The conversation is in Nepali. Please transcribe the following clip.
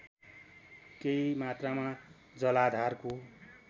केही मात्रामा जलाधारको